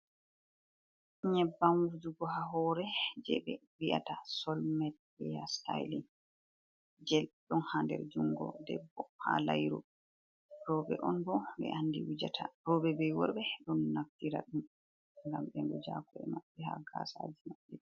Nyebbam wujugo ha hore, jei ɓe vi'ata soul mate, heya stailin. Je ɗon ha nder jungo debbo ha lairu. Rowɓe on bo ɓe andi wujata. Rowɓe be worɓe ɗon naftira ɗum. Ngam ɓe wuja ha ko'e maɓɓe, ha gaasaji maɓɓe.